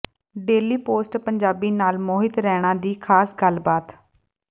daily Post Punjabi ਨਾਲ ਮੋਹਿਤ ਰੈਣਾ ਦੀ ਖਾਸ ਗੱਲਬਾਤ